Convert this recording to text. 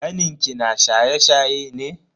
Kanin ki na shaye-shaye ne?